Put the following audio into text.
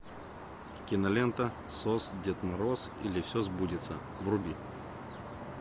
кинолента сос дед мороз или все сбудется вруби